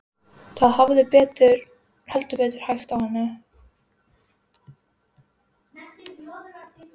Það hafði heldur betur hægt á henni.